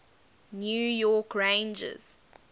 new york rangers